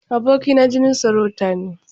Aboki na jinin sarauta ne.